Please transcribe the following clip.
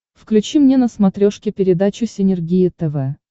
включи мне на смотрешке передачу синергия тв